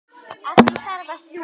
Að því þarf að hlúa.